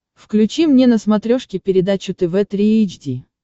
включи мне на смотрешке передачу тв три эйч ди